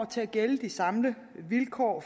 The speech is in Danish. til at gælde de samme vilkår